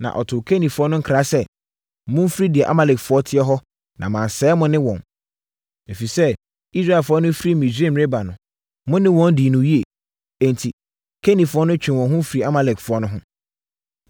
Na ɔtoo Kenifoɔ no nkra sɛ, “Momfiri deɛ Amalekfoɔ teɛ hɔ na mansɛe mo ne wɔn, ɛfiri sɛ, Israelfoɔ no firi Misraim reba no, mo ne wɔn dii no yie.” Enti, Kenifoɔ no twee wɔn ho firi Amalekfoɔ no ho.